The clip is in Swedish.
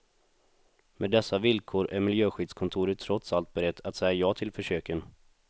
Med dessa villkor är miljöskyddskontoret trots allt berett att säga ja till försöken.